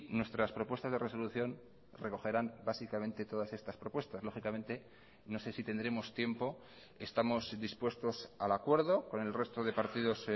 nuestras propuestas de resolución recogerán básicamente todas estas propuestas lógicamente no sé si tendremos tiempo estamos dispuestos al acuerdo con el resto de partidos